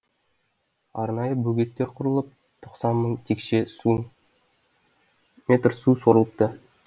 арнайы бөгеттер құрылып тоқсан мың текше метр су сорылыпты